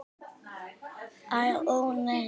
Ó nei.